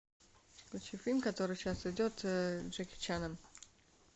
включи фильм который сейчас идет с джеки чаном